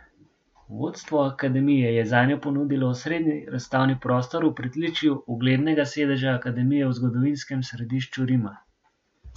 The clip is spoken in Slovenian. Vodstvo akademije je zanjo ponudilo osrednji razstavni prostor v pritličju uglednega sedeža akademije v zgodovinskem središču Rima.